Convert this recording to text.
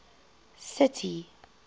city